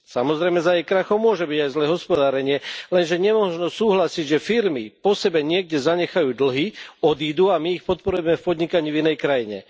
Samozrejme, za jej krachom môže byť aj zlé hospodárenie, lenže nemožno súhlasiť, že firmy po sebe niekde zanechajú dlhy, odídu a my ich podporujeme v podnikaní v inej krajine.